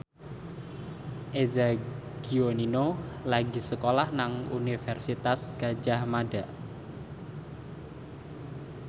Eza Gionino lagi sekolah nang Universitas Gadjah Mada